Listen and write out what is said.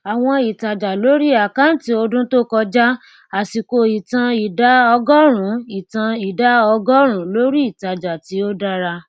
àwọn ìtájà lórí àkáǹtí ọdún tó kọjá àsìkò ìtàn ìdá ọgórùnún ìtàn ìdá ọgórùnún lórí ìtájà tí ó dára